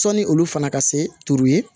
Sɔni olu fana ka se turu ye